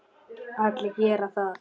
Allir geri það.